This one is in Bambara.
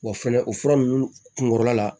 Wa fɛnɛ o fura ninnu kun kɔrɔla